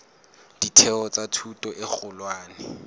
ditheo tsa thuto e kgolwane